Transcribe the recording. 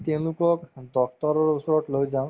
তেওঁলোকক doctor ৰৰ ওচৰত লৈ যাওঁ